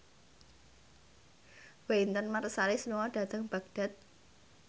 Wynton Marsalis lunga dhateng Baghdad